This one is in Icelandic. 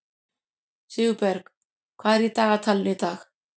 Sigurberg, hvað er í dagatalinu í dag?